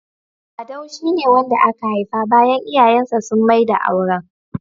.Sadau shi ne wanda aka haifa bayan iyayen sa sun maida auren.